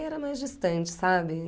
Era mais distante, sabe?